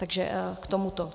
Takže k tomuto.